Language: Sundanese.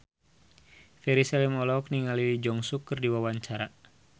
Ferry Salim olohok ningali Lee Jeong Suk keur diwawancara